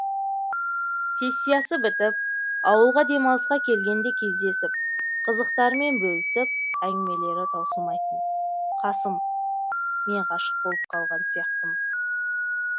сессиясы бітіп ауылға демалысқа келгенде кездесіп қызықтарымен бөлісіп әңгімелері таусылмайтын қасым мен ғашық болып қалған сияқтымын